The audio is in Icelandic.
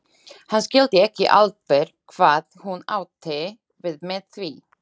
Hann skildi ekki alveg hvað hún átti við með því.